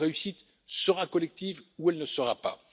Notre réussite sera collective ou elle ne sera pas.